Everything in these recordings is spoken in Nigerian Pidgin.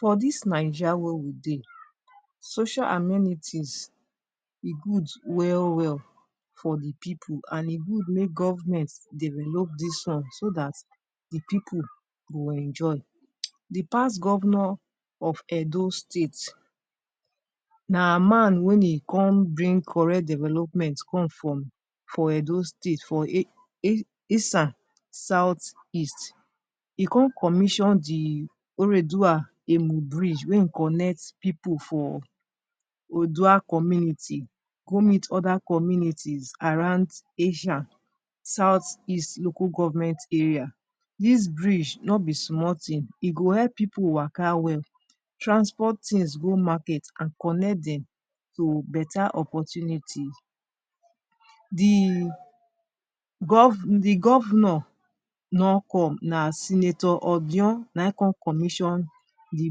For dis Naija wey we dey, social amenities e good well-well for the people, an e good make government develop dis one so dat the pipu go enjoy. The past governor of Edo State na man wen e come bring correct development come from for Edo State for Esan South-East. E con commission the bridge wey ein connect pipu for Odua community go meet other communities around Esan South-East Local Government area. Dis bridge no be small tin. E go help pipu waka well, transport tins go market, an connect dem to beta opportunity. The the governor no come. Na Senator Odion na ein con commission the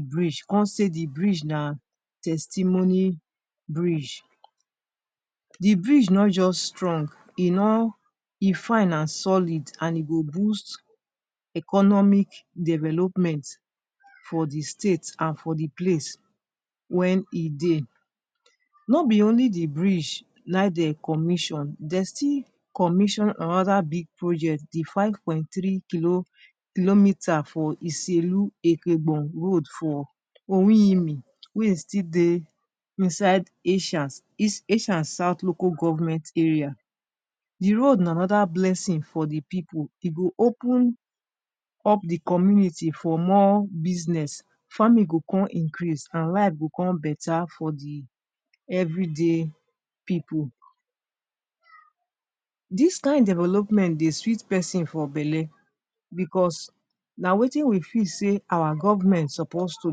bridge, con say the bridge na testimony bridge. The bridge no juz strong, e no e fine an solid, an e go boost economic development for the state an for the place wen e dey. No be only the bridge na ein de commission, de still commission another big project—the five point three kilo kilometre for road for wey ein still dey inside Esan East Esan South local government area. The road na another blessing for the pipu. E go open up the community for more business. Farming go con increase, an life go con beta for the everyday pipu. Dis kain development dey sweet peson for belle becos na wetin we feel sey our government suppose to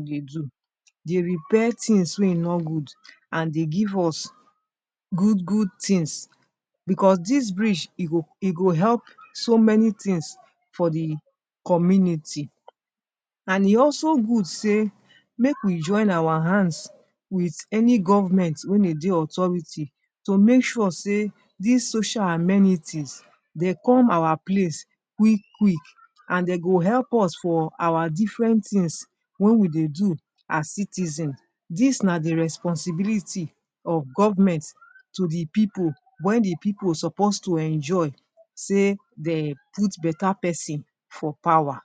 dey do—dey repair tins wey e no good, an dey give us good-good tins—becos dis bridge e go e go help so many tins for the community. An e also good sey make we join our hands with any government wey ein dey authority to make sure sey dis social amenities dey come our place quick-quick, an de go help us for our different tins wey we dey do as citizen. Dis na the responsibility of government to the pipu wey the pipu suppose to enjoy sey de put beta peson for power.